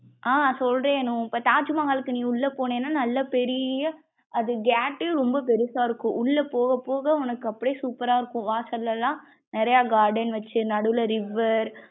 ஆஹ் சொல்றேன் அனு. இப்ப தாஜ்மஹாலுக்கு நீ உள்ள போனேனா நல்லா பெரிய அது gate யே ரொம்ப பெருசா இருக்கும் உள்ள போகப் போக உனக்கு அப்டியே super ரா இருக்கும் வாசலெல்லாம் நிறைய garden வச்சு நடுவுல river.